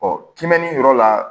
kinbɛni yɔrɔ la